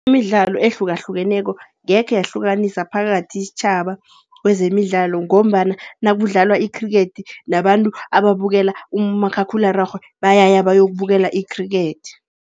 Imidlalo ehlukahlukeneko angekhe yahlukanisa phakathi istjhaba kwezemidlalo ngombana nakudlalwa ikhrikhethi, nabantu ababukela umakhakhulararhwe, bayaya bayokubukela ikhrikhethi.